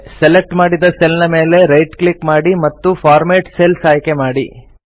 select ಮಾಡಿದ cell ನ ಮೇಲೆ ರೈಟ್ ಕ್ಲಿಕ್ ಮಾಡಿ ಮತ್ತು ಫಾರ್ಮ್ಯಾಟ್ ಸೆಲ್ಸ್ ಆಯ್ಕೆ ಮಾಡಿ